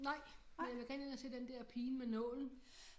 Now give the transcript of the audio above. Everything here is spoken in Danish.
Nej men jeg vil gerne ind og se den der Pigen med Nålen